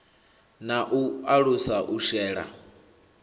na u alusa u shela